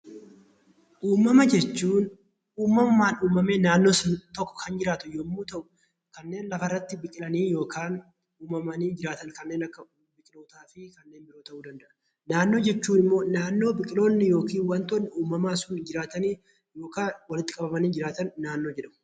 Uumama jechuun uumamumaan uumamee naannoo tokko kan jiraatu yemmuu ta'u, kanneen lafa irratti biqilanii yookaan hubamanii biqilootaa fi kanneen biroo ta'uu danda'a. Naannoo jechuun immoo naannoo biqiloonni yookaan immoo waantonni uumamaa sun jiraatanii yookaan walitti qabamanii jiraatan naannoo jedhama.